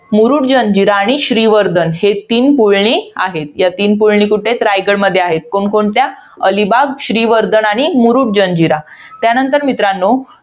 मुरुड, जंजीर आणि श्रीवर्धन. हे तीन पुळणी आहेत. या तीन पुळणी कुठं आहेत? रायगडमध्ये आहेत. कोणकोणत्या अलिबाग, श्रीवर्धन आणि मुरुड जंजिरा. त्यानंतर मित्रांनो,